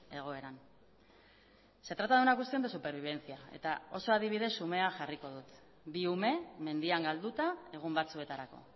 egoeran se trata de una cuestión de supervivencia eta oso adibide xumea jarriko dut bi ume mendian galduta egun batzuetarako